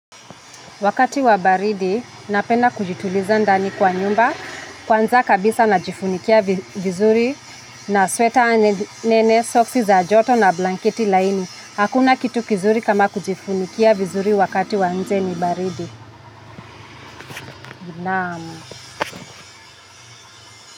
Wakati wa baridi, napenda kujituliza ndani kwa nyumba, kwanza kabisa najifunikia vizuri, na sweta nene, socks za joto na blanketi laini. Hakuna kitu kizuri kama kujifunikia vizuri wakati wa nje ni baridi. Naamu.